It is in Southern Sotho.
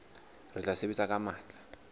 re tla sebetsa ka matla